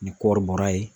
Ni kɔɔri bɔra ye